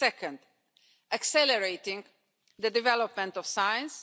Second, accelerating the development of science